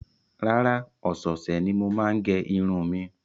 Rárá, ọ̀sẹ̀ẹ̀sẹ̀ ni mo máa ń gẹ irun mi.